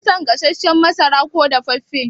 Kin fi son gasashen masara ko dafaffe?